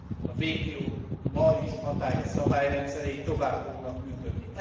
A WTO ma is hatályos szabályrendszerei tovább fognak működni.